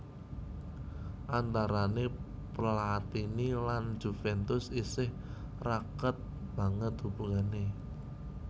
Antarané Platini lan Juvèntus isih raket banget hubungané